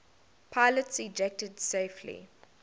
pilots ejected safely